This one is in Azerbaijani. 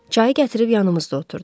Çayı gətirib yanımızda oturdu.